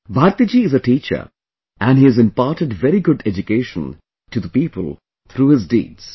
Bharti ji is a teacher and he has imparted very good education to the people through his deeds